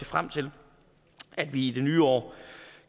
frem til at vi i det nye år